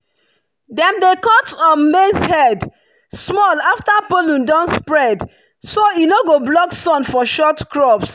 dem dey cut um maize head small after pollen don spread so e no go block sun for short crops.